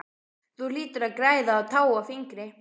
Þú hlýtur að græða á tá og fingri!